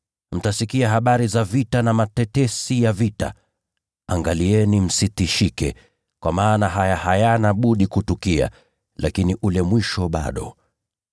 Mtasikia habari za vita na matetesi ya vita. Angalieni msitishike, kwa maana haya hayana budi kutukia. Lakini ule mwisho bado.